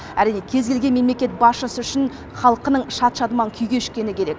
әрине кез келген мемлекет басшысы үшін халқының шат шадыман күй кешкені керек